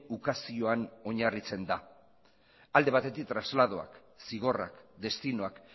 ukazioan oinarritzen da alde batetik trasladoak zigorrak destinoak